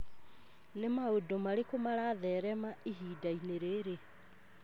Nĩ maũndũ marĩkũ maratherema ihinda-inĩ rĩrĩ